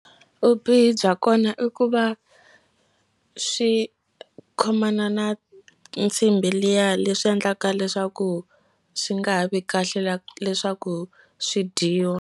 Vubihi bya kona i ku va swi khomana na nsimbi liya leswi endlaka leswaku swi nga ha vi kahle leswaku swi dyiwa.